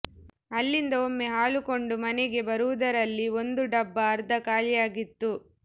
ಅಲ್ಲಿಂದ ಒಮ್ಮೆ ಹಾಲು ಕೊಂಡು ಮನೆಗೆ ಬರುವುದರಲ್ಲಿ ಒಂದು ಡಬ್ಬ ಅರ್ಧ ಖಾಲಿಯಾಗಿತ್ತು